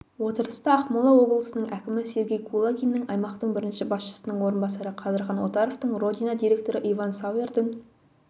отырыста ақмола облысының әкімі сергей кулагиннің аймақтың бірінші басшысының орынбасары қадырхан отаровтың родина директоры иван сауэрдің